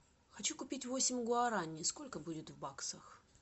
хочу купить восемь гуарани сколько будет в баксах